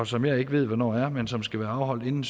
som jeg ikke ved hvornår er men som skal være afholdt inden